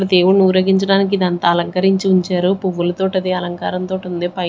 దేవుడిని ఊరగించడానికి ఇదంతా అలంకరించి ఉంచారు పువ్వుల తోటి అది అలంకారం తోటి ఉంది పై--